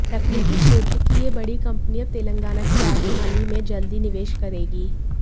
तकनीकी क्षेत्र की यह बड़ी कंपनी अब तेलंगाना की राजधानी में जल्द ही निवेश करेगी